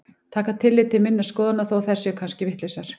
Taka tillit til minna skoðana þó að þær séu kannski vitlausar.